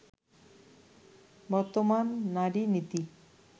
বর্তমান নারী-নীতি